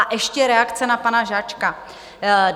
A ještě reakce na pana Žáčka.